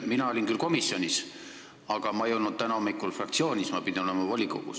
Ma olin küll komisjonis kohal, aga ma ei olnud täna hommikul fraktsioonis, sest ma pidin olema volikogus.